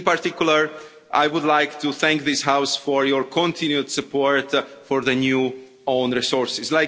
In particular, I would like to thank this House for its continued support for the new own resources.